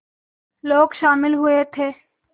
लोग शामिल हुए थे